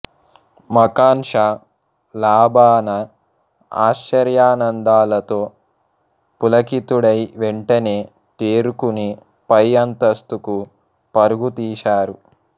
మఖాన్ షా లాబానా ఆశ్చర్యానందాలతో పులకితుడై వెంటనే తేరుకుని పై అంతస్తుకు పరుగు తీశారు